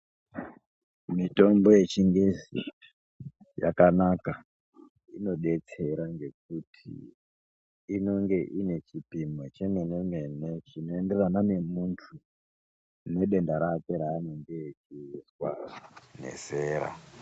Mitombo yechingezi yakanaka inodetsera ngekuti inenge ine chipimo chemene mene chinoenderana ngemuntu nendenda rakwe raanenge achizwa nezera.